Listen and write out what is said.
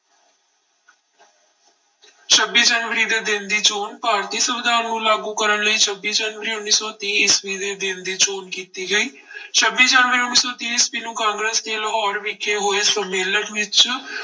ਛੱਬੀ ਜਨਵਰੀ ਦੇ ਦਿਨ ਦੀ ਚੌਣ ਭਾਰਤੀ ਸੰਵਿਧਾਨ ਨੂੰ ਲਾਗੂ ਕਰਨ ਲਈ ਛੱਬੀ ਜਨਵਰੀ ਉੱਨੀ ਸੌ ਤੀਹ ਈਸਵੀ ਦੇ ਦਿਨ ਦੀ ਚੋਣ ਕੀਤੀ ਗਈ ਛੱਬੀ ਜਨਵਰੀ ਉੱਨੀ ਸੌ ਤੀਹ ਈਸਵੀ ਨੂੰ ਕਾਂਗਰਸ਼ ਦੇ ਲਾਹੌਰ ਵਿਖੇ ਹੋਏ ਸੰਮੇਲਨ ਵਿੱਚ